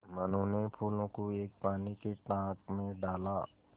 मनु ने फूलों को एक पानी के टांक मे डाला